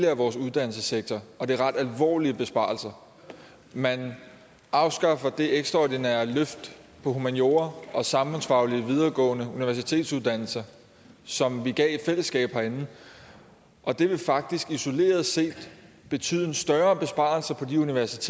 af vores uddannelsessektor og det er ret alvorlige besparelser man afskaffer det ekstraordinære løft af humaniora og samfundsfaglige videregående universitetsuddannelser som vi gav i fællesskab herinde og det vil faktisk isoleret set betyde en større besparelse på de uddannelser